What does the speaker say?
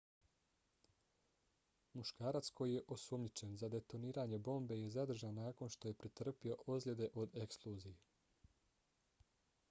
muškarac koji je osumnjičen za detoniranje bombe je zadržan nakon što je pretrpio ozljede od eksplozije